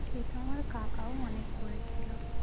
সে সময় কাকাও অনেক করেছিল